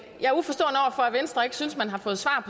venstre ikke synes man har fået svar